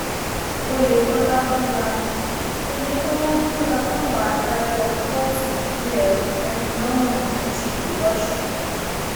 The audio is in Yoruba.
oyetola búra oyetola búra fáwọn adájọ kóòtù ìbílẹ kòtẹmílọrùn méjì lọsùn